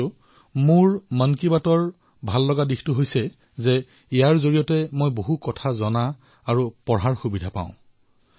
কিন্তু মন কী বাতত মোৰ আটাইতকৈ ভাল এয়াই লাগে যে ইয়াত কিবা এটা জনাৰশিকাৰ সুযোগ পোৱা যায়